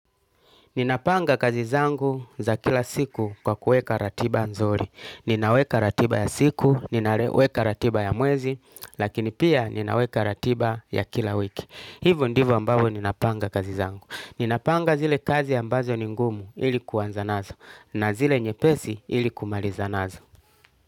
Ninapanga kazi zangu za kila siku kwa kuweka ratiba nzuri. Ninaweka ratiba ya siku, ninaweka ratiba ya mwezi, lakini pia ninaweka ratiba ya kila wiki. Hivo ndivo ambavyo ninapanga kazi zangu. Ninapanga zile kazi ambazo ni ngumu ili kuanza nazo na zile nyepesi ili kumaliza nazo.